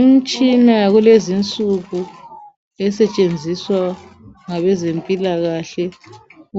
Umtshina yakulezinsuku esetshenziswa ngabezempilakahle